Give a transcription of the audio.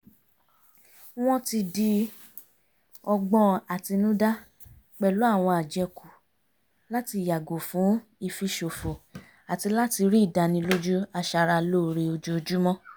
wọ́n ti di ọgbọ́n àtinúdá pẹ̀lú àwọn àjẹkù láti yàgò fún ìfiṣòfò àti láti rí ìdánilójú aṣara lóore ojoojúmọ́